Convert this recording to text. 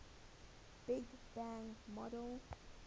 big bang model